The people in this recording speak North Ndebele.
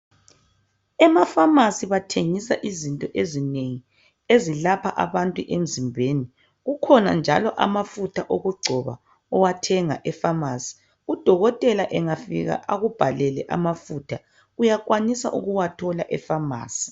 Emafamasi bathengisa izinto ezinengi ezilapha abantu emzimbeni kukhona njalo amafutha okugcoba owathenga efamasi udokotela engafika akubhalele amafutha uyakwanisa ukuwathola efamasi.